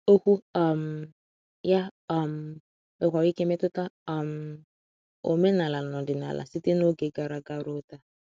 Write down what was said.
Okwu um ya um nwekwara ike metụta um omenala na ọdịnala site n’oge gara aga ruo taa.